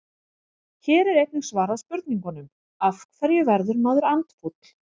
Hér er einnig svarað spurningunum: Af hverju verður maður andfúll?